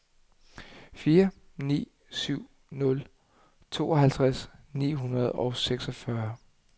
fire ni syv nul tooghalvtreds ni hundrede og seksogfyrre